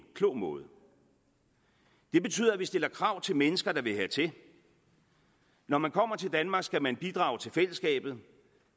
klog måde og det betyder at vi stiller krav til mennesker der vil hertil når man kommer til danmark skal man bidrage til fællesskabet